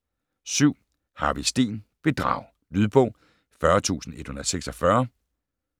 7. Harvig, Steen: Bedrag Lydbog 40146